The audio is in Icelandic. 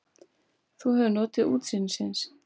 Þú hefur notið útsýnisins?